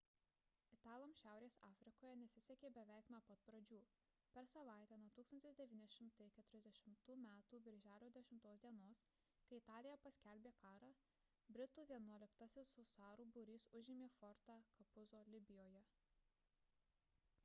italams šiaurės afrikoje nesisekė beveik nuo pat pradžių per savaitę nuo 1940 m birželio 10 d kai italija paskelbė karą britų vienuoliktasis husarų būrys užėmė fortą capuzzo libijoje